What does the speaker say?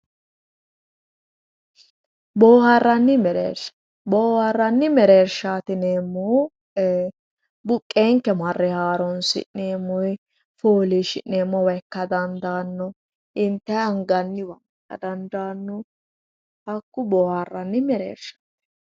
Booharanni mereersha, booharanni mereersha yineemmohu ee buqenke marre haaronsi'neemmo woyi foolishi'neemmowa ikka dandaano intayi anganniwa ikka dandaano hakku booharanni mereershati.